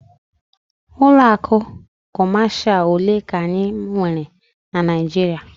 Ụlọ akụ Kọmashal ole ka anyị nwere na Naịjirịa?